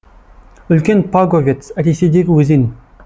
үлкен паговец ресейдегі өзен